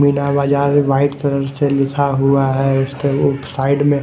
Meena Bazaar white colour से लिखा हुआ है उसके साइड में--